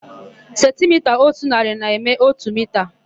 Sentimita ótù narị na-eme ótù mita.